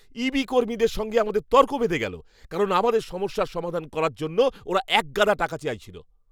ইবি কর্মীদের সঙ্গে আমাদের তর্ক বেধে গেল কারণ আমাদের সমস্যার সমাধান করার জন্য ওরা একগাদা টাকা চাইছিল।